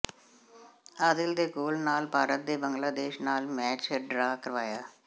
ਆਦਿਲ ਦੇ ਗੋਲ ਨਾਲ ਭਾਰਤ ਨੇ ਬੰਗਲਾਦੇਸ਼ ਨਾਲ ਮੈਚ ਡਰਾਅ ਕਰਵਾਇਆ